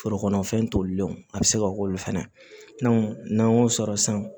Forokɔnɔ fɛn tolilenw a bɛ se ka k'olu fɛnɛ la n'an y'o sɔrɔ san